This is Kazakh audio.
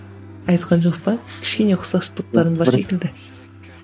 айтқан жоқ па кішкене ұқсастықтарың бар секілді